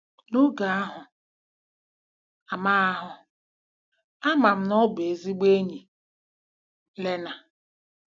N'oge ahụ, ama ahụ, ama m na ọ bụ ezigbo enyi! ” —Lena.